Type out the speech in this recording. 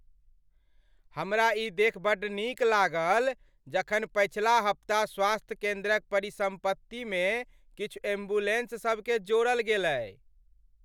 हमरा ई देखि बड्ड नीक लागल जखन पछिला हप्ता स्वास्थ्य केंद्रक परिसम्पत्ति मे किछु एम्बुलेंस सब केँ जोड़ल गेलै ।